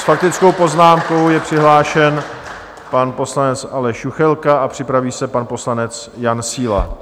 S faktickou poznámkou je přihlášen pan poslanec Aleš Juchelka a připraví se pan poslanec Jan Síla.